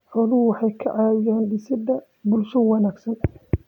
Xooluhu waxay ka caawiyaan dhisidda bulsho wanaagsan.